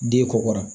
Den kɔkɔra